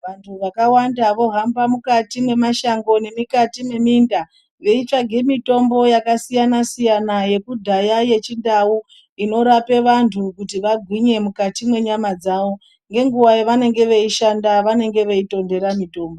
Vandu vakawanda vohamba mukati mwema shango nemikati mweminda veitsvage mitombo yakasiyana siyana yekudhaya yechindau inorape vantu kuti vagwinye mukati mwenyama dzawo ngenguwa yavanenge veishanda vanenge veitondera mitombo